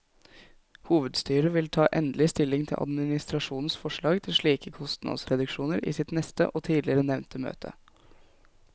Hovedstyret vil ta endelig stilling til administrasjonens forslag til slike kostnadsreduksjoner i sitt neste og tidligere nevnte møte.